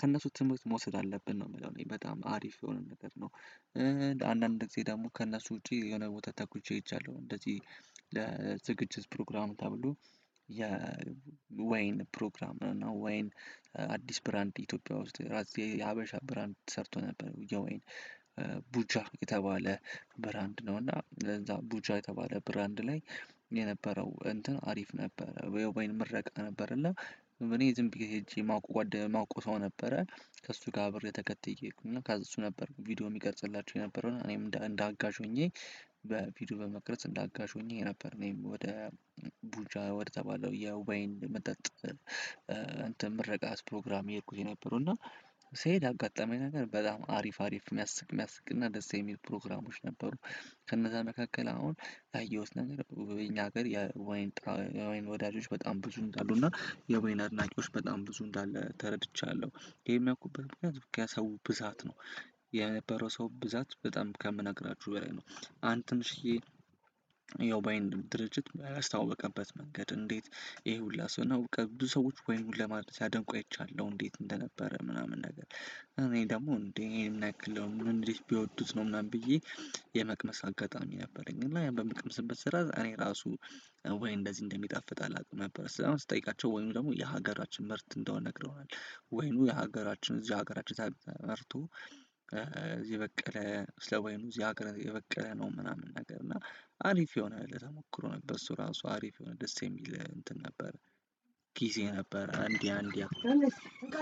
ከእነሱ ትምህርት መውሰድ አለብን ነው የምለው እኔ በጣም አሪፍ የሆነ ነገር ነው። አንዳንድ ጊዜ ደግሞ ከእነሱ ውጪ የሆነ ቦታ ተጉዤ ሄጃለሁ። እንደዚህ ለዝግጅት ፕሮግራም ተብሎ የወይን ፕሮግራም እና ወይን አዲስ ብራንድ ኢትዮጵያ ውስጥ ራስ የሀበሻ ብራንድ ተሰርቶ ነበር። የወይን ቡጃ የተባለ ብራንድ ነው። እና እዛ ቡጃ የተባለ ብራንድ ላይ የነበረው እንትን አሪፍ ነበረ የወይን ምረቃ ነበር። እና እኔ ዝም ብዬ ሄጄ ማወቅ ማወቀው ሰው ነበረ ከእሱ ጋር አብሬ ተከትዬ ሄድኩ እና እሱ ነበር ቪዲዮ የሚቀርጽላቸው የነበረው እና እኔም እንደ አጋዥ ሆኜ በቪዲዮ በመቅረጽ እንደ አጋዥ ሆኜ ነበር። እኔም ወደ ቡጃ ወደ ተባለው የወይን መጠጥ እንትን ምርቃት ፕሮግራም የሄድኩት የነበረው እና ስሄድ አጋጣሚ ነገር በጣም አሪፍ አሪፍ የሚያስቅ የሚያስቅ እና ደስ የሚሉ ፕሮግራሞች ነበሩ። ከነዛ መካከል አሁን ያየሁት ነገር እኛ ሀገር የወይን ወዳጆች በጣም ብዙ እንዳሉ እና የወይን አድናቂዎች በጣም ብዙ እንዳለ ተረድቻለሁ። ይሄን ያልኩበት ምክንያት ከሰው ብዛት ነው። የነበረው ሰው ብዛት በጣም ከምነግራችሁ በላይ ነው። አንድ ትንሽዬ ያው ባይንድ ድርጅት ያስተዋወቀበት መንገድ እንዴት ይሄ ሁላ ሰው ነው በቃ ብዙ ሰዎች ወይኑን ሲያደንቁ አይቻለው እንዴት እንደነበረ ምናምን ነገር እኔ ደግሞ እንዴ ይሄን ያክል እንዴት ቢወዱት ነው ምናምን ብዬ። የመቅመስ አጋጣሚ ነበረኝ እና ያን በምቀመስበት ስራ እኔ ራሱ ወይን እንደዚህ እንደሚጣፍጥ አላውቅም ነበር። ከዛም ስጠይቃቸው ወይኑ ደግሞ የሀገራችን ምርት እንደሆነ ነግረውናል። ወይኑ የሀገራችን እዚህ ሀገራችን ተመርቶ እዚህ የበቀለ ስለሆነ እዚህ ሀገር የበቀለ ነው። ምናምን ነገር እና አሪፍ የሆነ ለተሞክሮ ነበር። እሱ ራሱ አሪፍ የሆነ ደስ የሚል እንትን ነበር። ጊዜ ነበር እንዲያ እንዲያ